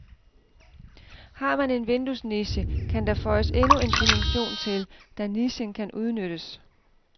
Har man en vinduesniche, kan der føjes endnu en dimension til, da nichen kan udnyttes.